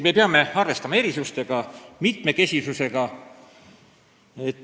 Me peame arvestama erinevusi, mitmekesisust.